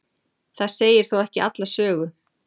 það segir þó ekki alla sögu